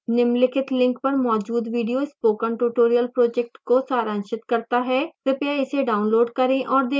निम्नलिखित link पर मौजूद video spoken tutorial project को सारांशित करता है कृपया इसे डाउनलोड करें और देखें